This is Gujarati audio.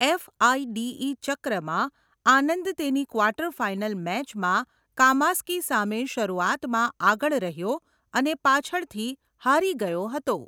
એફઆઇડીઈ ચક્રમાં, આનંદ તેની ક્વાર્ટર ફાઈનલ મેચમાં કામસ્કી સામે શરૂઆતમાં આગળ રહ્યો અને પાછળથી હારી ગયો હતો.